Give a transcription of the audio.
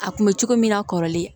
A kun bɛ cogo min na kɔrɔlen